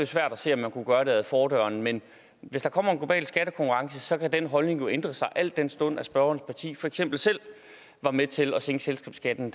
svært at se at man kunne gøre det ad fordøren men hvis der kommer en global skattekonkurrence kan den holdning jo ændre sig al den stund at spørgerens parti for eksempel selv var med til at sænke selskabsskatten